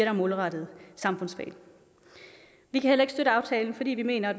er målrettet samfundsfag vi kan heller ikke støtte aftalen fordi vi mener